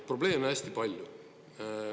Probleeme on hästi palju.